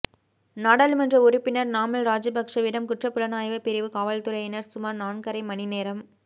நாடாளுமன்ற உறுப்பினர் நாமல் ராஜபக்சவிடம் குற்றப் புலனாய்வுப் பிரிவு காவற்துறையினர் சுமார் நான்கரை மணி நேரம்